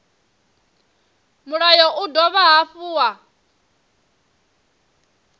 mulayo u dovha hafhu wa